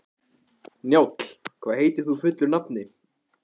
Njáll, hvað heitir þú fullu nafni?